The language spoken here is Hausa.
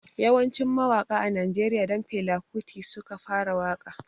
Yawancin mawaƙa a najeriya don fela kuti suka fara waƙa